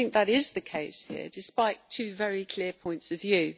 I think that is the case here, despite two very clear points of view.